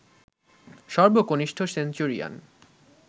সর্বকনিষ্ঠ centurion